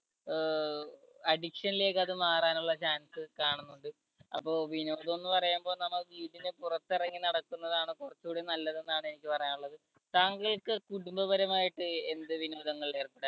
അഹ് addiction ലേക്ക് അത് മാറാനുള്ള chance കാണുന്നുണ്ട്. അപ്പോ വിനോദം എന്ന് പറയുമ്പോൾ നമുക്ക് ഇങ്ങനെ പുറത്തിറങ്ങി നടക്കുന്നതാണ് കുറച്ചുകൂടി നല്ലതെന്നാണ് എനിക്ക് പറയാനുള്ളത്. താങ്കൾക്ക് കുടുംബപരമായിട്ട് എന്ത് വിനോദങ്ങളിൽ ഏർപ്പെടാ